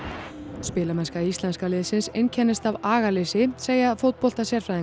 spilamennska íslenska liðsins einkennist af agaleysi segja